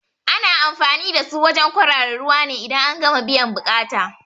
Ana anfani da su wajen kwarara ruwa ne idan an gama biyan buƙata